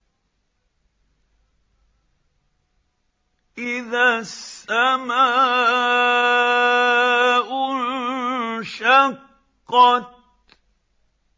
إِذَا السَّمَاءُ انشَقَّتْ